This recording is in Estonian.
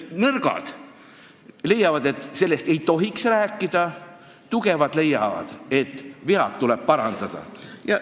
Nõrgad leiavad, et sellest ei tohiks rääkida, tugevad leiavad, et vead tuleb parandada.